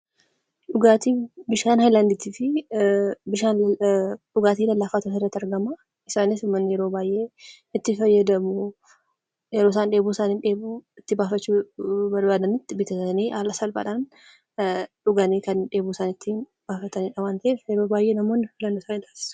Dhugaatiin bishaan haylaandii fi dhugaatii lallaafaatu asirratti argama. Isaanis yeroo baay'ee itti fayyadamu yeroo isaan dheebuu isaanii itti baafachuu barbaadanitti bitatanii haala salphaadhaan dhuganii kan dheebuu isaanii ittiin bahatanidha waan ta'eef yeroo baay'ee namoonni ni dhugu.